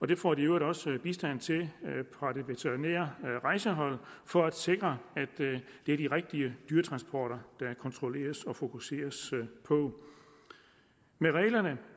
det får de i øvrigt også bistand til fra det veterinære rejsehold for at sikre at det er de rigtige dyretransporter der kontrolleres og fokuseres på med reglerne